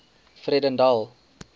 vredendal